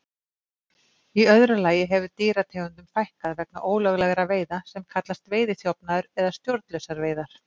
Í öðru lagi hefur dýrategundum fækkað vegna ólöglegra veiða sem kallast veiðiþjófnaður eða stjórnlausar veiðar.